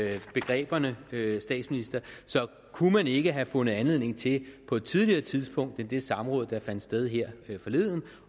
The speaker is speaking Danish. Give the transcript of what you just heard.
i begreberne vil jeg statsministeren så kunne man ikke have fundet anledning til på et tidligere tidspunkt end i det samråd der fandt sted her forleden